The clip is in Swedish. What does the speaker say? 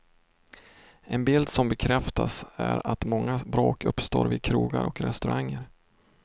En bild som bekräftas är att många bråk uppstår vid krogar och restauranger.